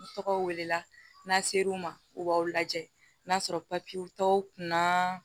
N tɔgɔw welela n'a ser'u ma u b'aw lajɛ n'a sɔrɔ papiyew tɔw kunna